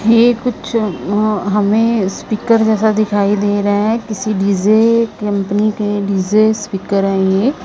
ये कुछ अ-हमें स्पीकर जैसा दिखाई दे रहे है किसी डीजे कंपनी के डीजे स्पीकर है ये।